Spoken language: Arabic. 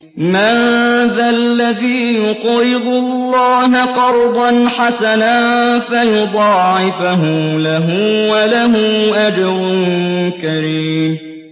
مَّن ذَا الَّذِي يُقْرِضُ اللَّهَ قَرْضًا حَسَنًا فَيُضَاعِفَهُ لَهُ وَلَهُ أَجْرٌ كَرِيمٌ